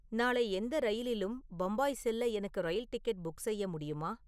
நாளை எந்த ரயிலிலும் பம்பாய் செல்ல எனக்கு ரயில் டிக்கெட் புக் செய்ய முடியுமா